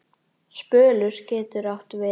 Spölur getur átt við